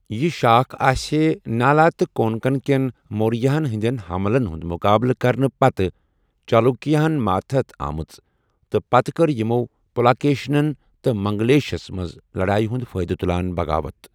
یہِ شاخ اسِہے نالا تہٕ کونکن کین مورِیاہن ہندین حملن ہُند مُقابلہٕ کرنہٕ پتہٕ چالوُکیاہن ماتحت آمٕژ، تہٕ پتہٕ کٕر یِمو پُلاکیشِنن تہٕ منگلیشس منز لڈایہِ ہُند فٲیدٕ تُلان بغاوت ۔